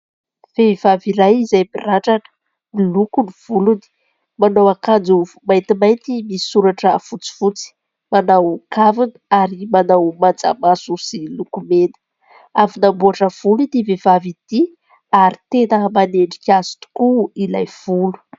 Vehivavy iray izay mirandrana, miloko ny volony. Manao akanjo maintimainty misy soratra fotsifotsy. Manao kavina ary manao manjamaso sy lokomena. Avy nanamboatra volo ity vehivavy ity ary tena manendrika azy tokoa ilay volo.